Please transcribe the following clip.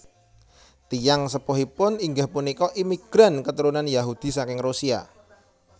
Tiyang sepuhipun inggih punika imigran keturunan Yahudi saking Rusia